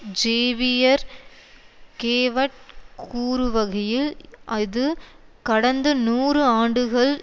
Xavier கேவட் கூறுவகையில் இது கடந்து நூறு ஆண்டுகள்